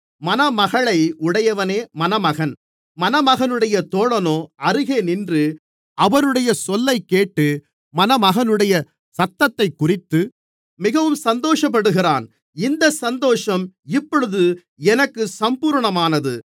மணமகளை உடையவனே மணமகன் மணமகனுடைய தோழனோ அருகே நின்று அவருடைய சொல்லைக் கேட்டு மணமகனுடைய சத்தத்தைக்குறித்து மிகவும் சந்தோஷப்படுகிறான் இந்தச் சந்தோஷம் இப்பொழுது எனக்குச் சம்பூரணமானது